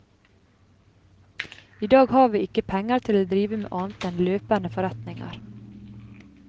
I dag har vi ikke penger til å drive med annet enn løpende forretninger.